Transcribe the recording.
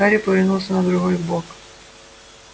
гарри повернулся на другой бок